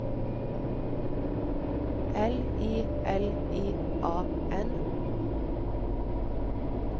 L I L I A N